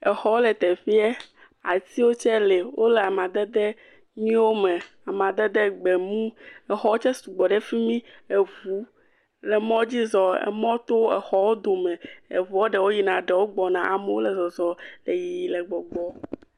Exɔ wo le teƒeɛ, atiwo tse le, wole amadede nyuie wo me, amadede gbemu, exɔwo tse sugbɔ ɖe fimi, eʋu le mɔdzi zɔ, emɔ to exɔwo dome, eʋuɔ ɖewo yina, ɖewo gbɔna, amowo le zɔzɔ le yiyi, le gbɔgbɔ.